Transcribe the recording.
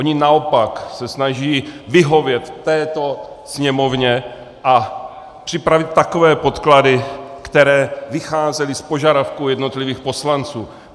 Oni naopak se snaží vyhovět této Sněmovně a připravit takové podklady, které vycházely z požadavků jednotlivých poslanců.